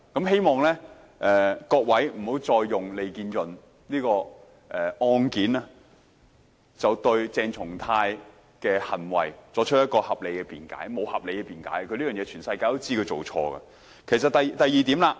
希望各位不要再以利建潤案件來為鄭松泰議員的行為作合理辯解，他的行為沒有合理辯解的，全世界都知道他這種行為是錯誤的。